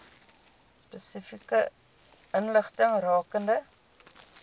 spesifieke inligting rakende